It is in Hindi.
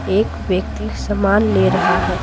एक व्यक्ति सामान ले रहा है।